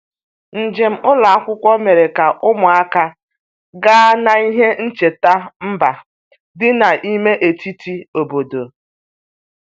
Njem ụlọ akwụkwọ mere ka ụmụaka gaa n'ihe ncheta mba dị n'ime etiti obodo.